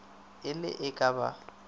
e le ee ke ba